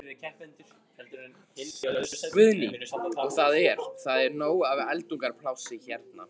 Guðný: Og það er, það er nóg af eldunarplássi hérna?